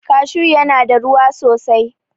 Kashu ya na da ruwa sosai